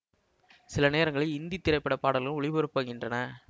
சில நேரங்களில் இந்தி திரைப்பட பாடல்களும் ஒலிபரப்பாகின்றன